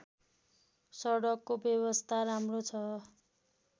सडकको व्यवस्था राम्रो छ